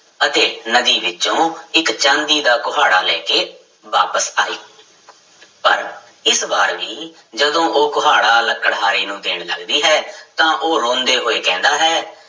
ਅਤੇ ਨਦੀ ਵਿੱਚੋਂ ਇੱਕ ਚਾਂਦੀ ਦਾ ਕੁਹਾੜਾ ਲੈ ਕੇ ਵਾਪਿਸ ਆਈ ਪਰ ਇਸ ਵਾਰ ਵੀ ਜਦੋਂ ਉਹ ਕੁਹਾੜਾ ਲੱਕੜਹਾਰੇ ਨੂੰ ਦੇਣ ਲੱਗਦੀ ਹੈ ਤਾਂ ਉਹ ਰੋਂਦੇ ਹੋਏ ਕਹਿੰਦਾ ਹੈ